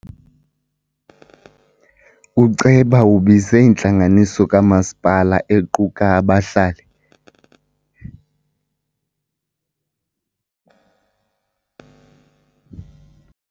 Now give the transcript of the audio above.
Uceba ubize intlanganiso kamasipala equka abahlali.